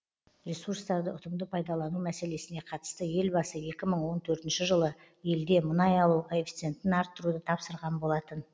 ресурстарды ұтымды пайдалану мәселесіне қатысты елбасы екі мың он төртінші жылы елде мұнай алу коэффицентін арттыруды тапсырған болатын